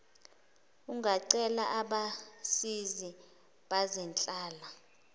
ungacela abasizi bezenhlala